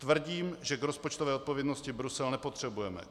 Tvrdím, že k rozpočtové odpovědnosti Brusel nepotřebujeme.